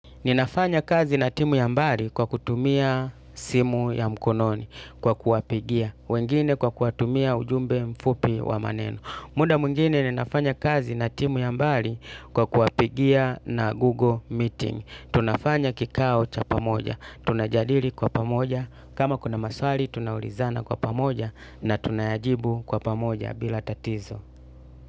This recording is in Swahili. Ninafanya kazi na timu ya mbali kwa kutumia simu ya mkononi kwa kuapigia. Wengine kwa kuatumia ujumbe mfupi wa maneno. Muda mwingine ninafanya kazi na timu ya mbali kwa kuapigia na Google Meeting. Tunafanya kikao cha pamoja. Tunajadili kwa pamoja. Kama kuna maswali, tunaulizana kwa pamoja na tunayajibu kwa pamoja bila tatizo.